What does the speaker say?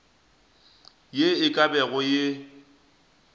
ye e ka bago ye